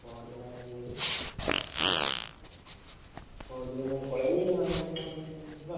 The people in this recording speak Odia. ପଅରଦିନ ହେଲେ ମୁଁ ପଅରଦିନ ମୁଁ ପଳେଇବି ଆଉ ପଅରଦିନ ତାହେଲେ ଯିବା।